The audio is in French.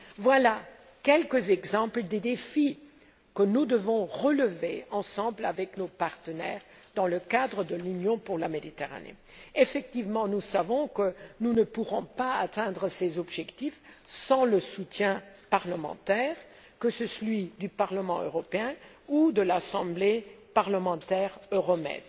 Voilà quelques exemples des défis que nous devons relever ensemble avec nos partenaires dans le cadre de l'Union pour la Méditerranée. Effectivement, nous savons que nous ne pourrons pas atteindre ces objectifs sans le soutien parlementaire, le soutien à la fois du Parlement européen et de l'Assemblée parlementaire Euromed.